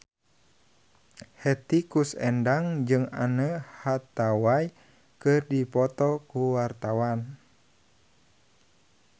Hetty Koes Endang jeung Anne Hathaway keur dipoto ku wartawan